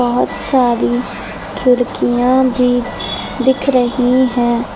बहुत सारी खिड़कियां भी दिख रही है।